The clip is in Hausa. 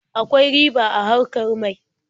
Akwai riba a harkar mai.